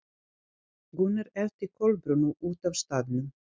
Gunnar elti Kolbrúnu út af staðnum.